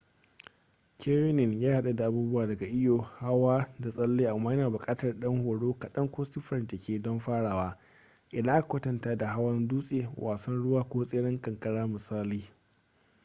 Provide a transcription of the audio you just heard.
canyoning ya haɗu da abubuwa daga iyo hawa da tsalle - amma yana buƙatar ɗan horo kaɗan ko siffar jiki don farawa idan aka kwatanta da hawan dutse wasan ruwa ko tseren kankara misali